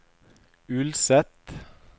Ulset